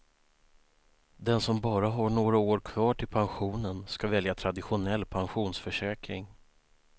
Den som bara har några år kvar till pensionen ska välja traditionell pensionsförsäkring.